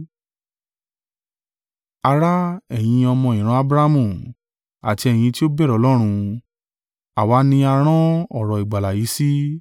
“Ará, ẹ̀yin ọmọ ìran Abrahamu, àti ẹ̀yin ti ó bẹ̀rù Ọlọ́run, àwa ni a rán ọ̀rọ̀ ìgbàlà yìí sí.